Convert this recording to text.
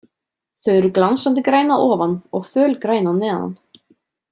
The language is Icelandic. Þau eru glansandi græn að ofan og fölgræn að neðan.